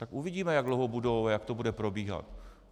Tak uvidíme, jak dlouho budou a jak to bude probíhat.